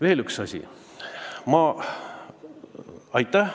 Veel üks asi.